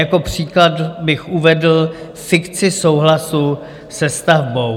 Jako příklad bych uvedl fikci souhlasu se stavbou.